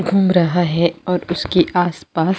घुम रहा है और उसके आस - पास --